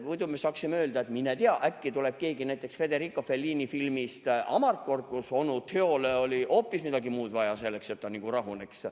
Muidu me saaksime öelda, et mine tea, äkki tuleb keegi selline, nagu Federico Fellini filmis "Amarcord", kus onu Teole oli hoopis midagi muud vaja selleks, et ta rahuneks.